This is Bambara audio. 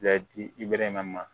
dimɛrɛ ma